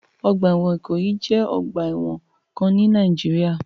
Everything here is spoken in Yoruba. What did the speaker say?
Ọgbà ẹ̀wọ̀n Ìkòyí jẹ́ ọ̀gba ẹ̀wọ̀n kan ni Nìàjíríà.